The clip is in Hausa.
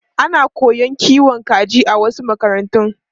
Ana koyon kiwon kaji a wasu makarantu.